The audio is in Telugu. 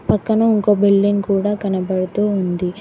పక్కన ఇంకో బిల్డింగ్ కూడా కనబడుతూ ఉంది.